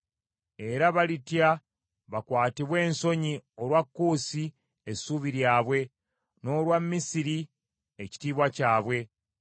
Era balitya bakwatibwe ensonyi olwa Kuusi essuubi lyabwe, n’olwa Misiri ekitiibwa kyabwe.